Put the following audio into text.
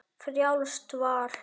Frjálst val!